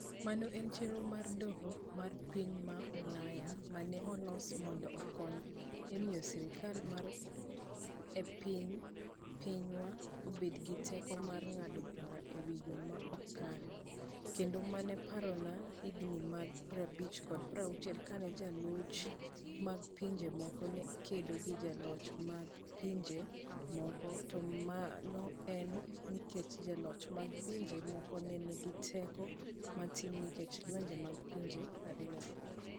Mano en chenro mar Doho mar piny ma Ulaya ma ne olos mondo okony e miyo sirkal mar apiny pinywa obed gi teko mar ng'ado bura e yo ma ok kare, kendo mano parona higini mag 50 kod 60 kane joloch mag pinje moko ne kedo gi joloch mag pinje moko, to mano ne en nikech joloch mag pinje moko ne nigi teko matin nikech lwenje mag pinje ariyogo.